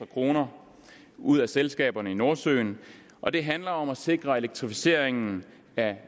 kroner ud af selskaberne i nordsøen og det handler om at sikre elektrificeringen af